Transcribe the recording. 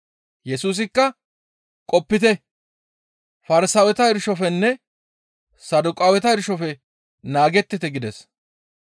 Yesusikka, «Qopite; Farsaaweta irshofenne Saduqaaweta irshofe naagettite» gides.